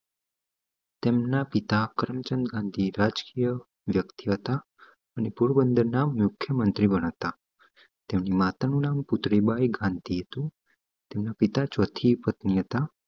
તેમના પિતા કરમચંદ ગાંધી રજક્રિય વ્યક્તિ હતા અને પોરબંદર ના મુખ્યમંત્રી પણ હતા તેઓ ની માતા નુ નામ બાઈ ગાંધી હતું તેમના પિતા ચોથી પત્ની હતા